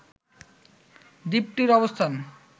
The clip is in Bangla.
দ্বীপটির অবস্থান